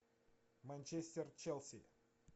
манчестер челси